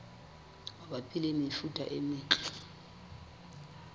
mabapi le mefuta e metle